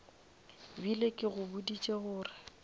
bile ke go boditše gore